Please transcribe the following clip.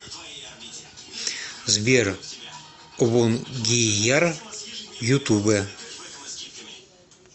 сбер обонгияр ютубэ